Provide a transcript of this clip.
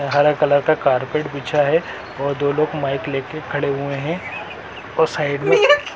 हरा कलर का कारपेट बिछा है और दो लोग माइक लेकर खड़े हुए हैं और साइड में--